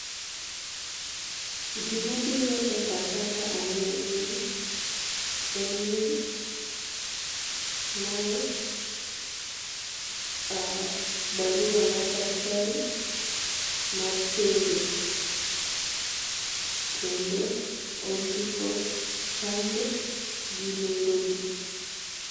Gima biro e pacha ka aneno gini en ni mae barua mar daktari mar chenjo kendo ondiko chanjo gi nengo gi.